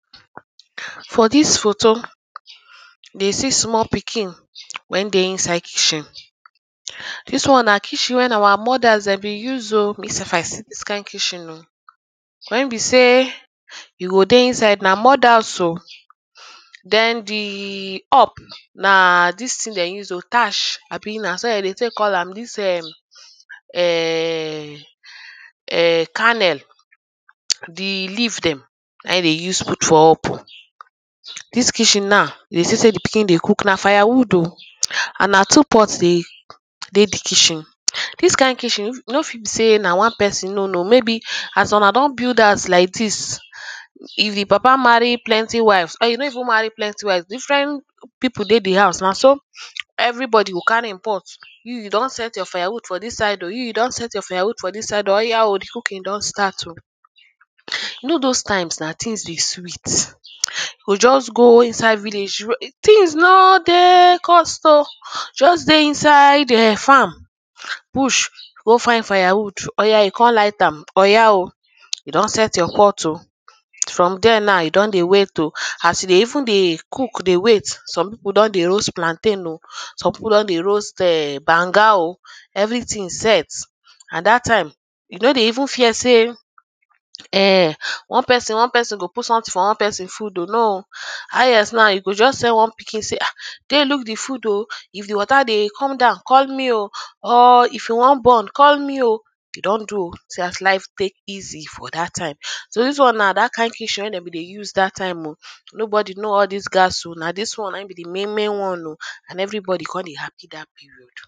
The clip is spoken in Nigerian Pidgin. For dis foto dey see small pikin wen dey inside kitchen dis one na kitchen wey our mothers been use o me sef I see dis kind kitchen o wen be sey you go dey inside na mud house o then the up na dis ting dem use o thatch ahbi naso den dey take call am dis ehmm ehhhhh ehh kennel the leaf dem na him dem use out for up dis kitchen now you go see sey the pikin dey cook na firewood o and na two pots dey dey the kitchen dis kind kitchen no fit be sey na one person no no maybe as Una don build house like this if the papa marry plenty wives or e no even marry plenty wives different people dey the house naso everybody go carry him pot you you don set your fire wood for dis side o you don set your fire wood for dis side oya o the cooking don start o you know those times na tings dey sweet you go just go inside village things no dey cost o just dey inside farm bush go find firewood oya you kon light am oya o you don set pot o from there now you don dey wait o as you dey even dey cook dey wait some people don dey roast plantain o some people don dey roast banga o everyting set and that time you no go even fear say ehnn one person one person put something for one person food o no o highest now you just tell one pikin sey dey look the food o if the water dey come down call me o or if e wan burn call me o e don do o see as life take easy for that time so dis one na that kind kitchen wey dem bin dey use that time o nobody no all dis gas o na dis one na him be the main main one o and every body come dey happy that period